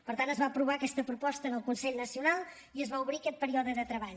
per tant es va aprovar aquesta proposta en el consell nacional i es va obrir aquest període de treball